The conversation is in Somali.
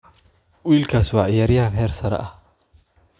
Wiilkaas waa ciyaaryahan heer sare ah.